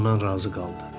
Hamı bundan razı qaldı.